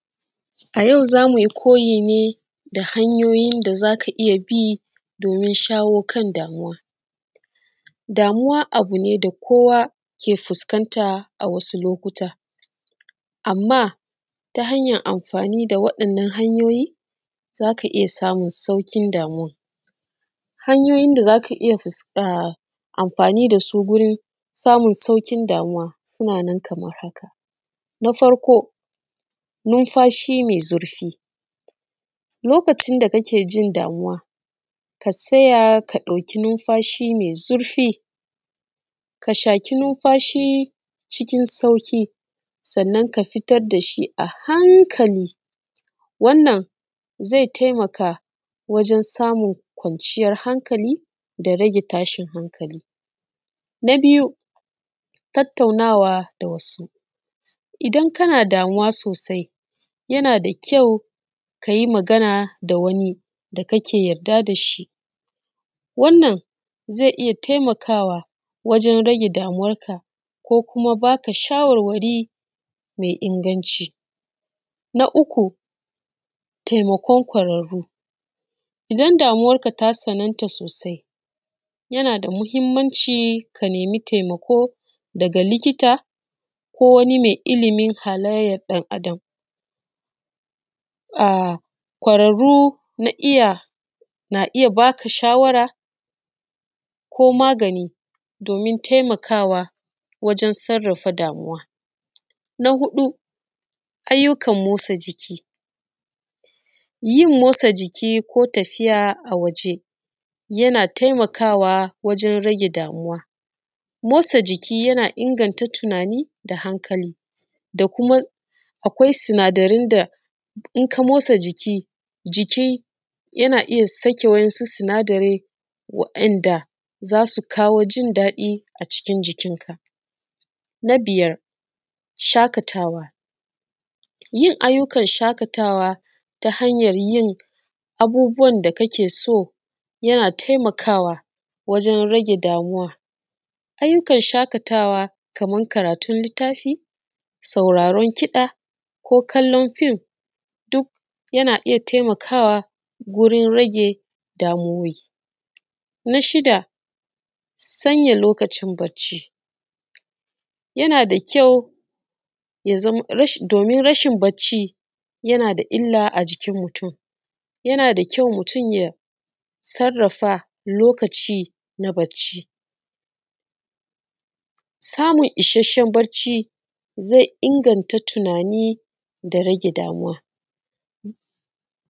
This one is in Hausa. A yau za mu yi koyi ne da hanyoyin da za ka iya bi domin shawo kan damuwa. Damuwa abu ne da kowa yake fuskanta a lokacin rayuwa, amma ta hanyan amfani da waɗannan hanyoyi za ka iya samun sauƙin damuwan suna nan kaman haka: na farko lokacin da kake jin damuwa ka tsaya ka ɗauki nunfashi mai zurfi sannan ka fitar da shi a hankali wannan zai taimaka wajen samun kwanciyar hankali da rage tashin hankali. Na biyu idan kana damuwa sosai ka tsaya ka yi magana da wani wannan zai taimaka wajen rage damuwanka ko kuma ba ka shawarwari masu inganci, na uku idan damuwan ka ta tsanantu yana da muhimmanci ka nemi taimako daga likita ko kuma wani mai ilimin halayyan ɗan’Adam suna iya taimakawa ko ba ka magani wajen sarrafa damuwa. Na hudɗ ayyukan motsa jiki, yin motsa jiki ko tafiya a waje yana taimakawa wajen rage damuwa, motsa jiki yana inganta tunani da hankali da kuma idan ka motsa jiki yana iya sake wasu sinadarai waɗanda za su kawo jin daɗi a cikin jikinka. Na biyar yin ayyukan shaƙatawa ta hanyar bin abubuwan da kake so yana taimakawa wajen rage damuwa kaman karatun littafi, jin kiɗa ko kallon fim yana iya taimakawa wurin rage damuwowi, na shida sanya lokacin bacci yana da kyau domin yana da illa a jikin mutun yana da kyau ya sanya lokacin bacci, samun isashen bacci zai inganta tunani ya kuma rage damuwa.